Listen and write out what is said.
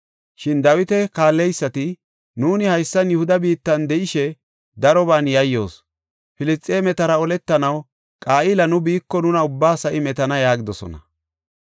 Shin Dawita kaalleysati, “Nuuni haysan Yihuda biittan de7ishe daroban yayyoos. Filisxeemetara oletanaw Qa7ila nu biiko nuna ubbaa sa7i metana” yaagidosona.